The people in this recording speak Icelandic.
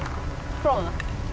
prófum það